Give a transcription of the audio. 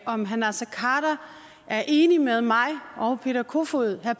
om herre naser khader er enig med mig og herre peter kofod